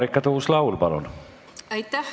Marika Tuus-Laul, palun!